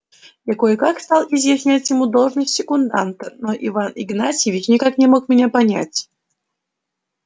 я кое-как стал изъяснять ему должность секунданта но иван игнатьевич никак не мог меня понять